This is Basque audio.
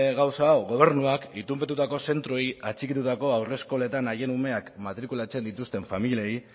gauza hau gobernuak itunpetutako zentroei atxikitutako haur eskoletan haien umeak matrikulatzen dituzten familiei